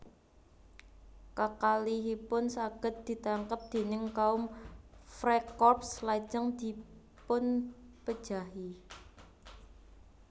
Kakalihipun saged ditangkep déning kaum Freikorps lajeng dipunpejahi